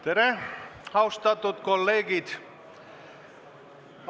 Tere, austatud kolleegid!